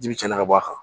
Ji bi caya ka bɔ a kan